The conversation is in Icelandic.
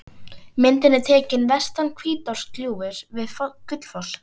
Myndin er tekin vestan Hvítárgljúfurs við Gullfoss.